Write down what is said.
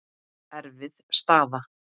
Erfið staða.